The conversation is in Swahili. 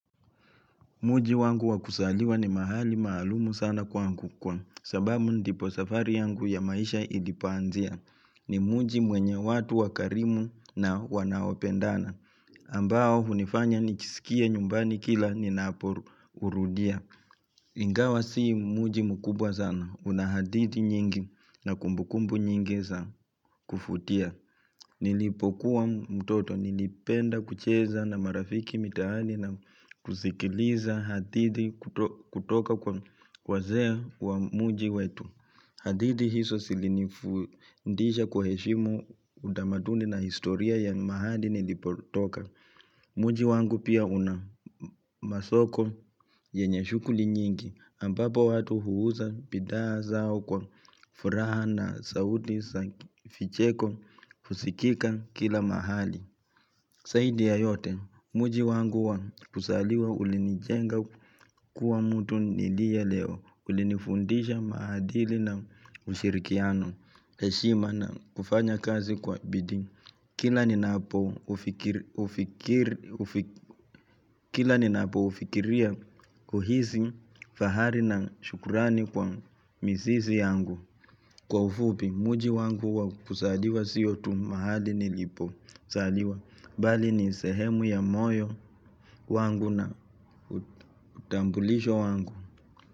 Mji wangu wakuzaliwa ni mahali maalumu sana kwa sababu ndipo safari yangu ya maisha ilipoanzia ni mji mwenye watu wakarimu na wanaopendana ambao unifanya nijiskie nyumbani kila ninapourudia. Ingawa sii mji mkubwa sana una hadithi nyingi na kumbukumbu nyingi za kuvutia Nilipokuwa mtoto nilipenda kucheza na marafiki mitaani na kusikiliza hadithi kutoka kwa wazea wa mji wetu hadithi hizo zilinifundisha kuwa heshimu udamaduni na historia ya mahali nilipotoka Mji wangu pia una masoko yenye shughuli nyingi, ambapo watu huuza bidhaa zao kwa furaha na sauti za vicheko, husikika kila mahali. Zaidi ya yote, mji wangu kuzaliwa ulinijenga kuwa mtu nilie leo, ulinifundisha maadili na ushirikiano, heshima na kufanya kazi kwa bidii kila ninapo Kila ni napo ufikiria huisi fahari na shukurani kwa mizizi yangu Kwa ufupi mji wangu kuzaliwa sio tu mahali nilipo zaliwa Bali ni sehemu ya moyo wangu na utambulisho wangu.